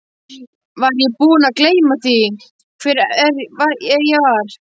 Var ég búinn að gleyma því hver ég var?